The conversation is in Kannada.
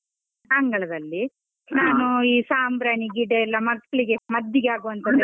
ಅಂಗಳದಲ್ಲಿ, ಈ ಸಾಂಬ್ರಾಣಿ ಗಿಡ ಎಲ್ಲ ಮಕ್ಳಿಗೆ ಮದ್ದಿಗೆ ಆಗುವಂತದ್ದು.